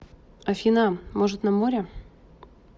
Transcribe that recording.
афина может на море